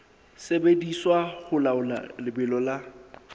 sebediswa ho laola lebelo la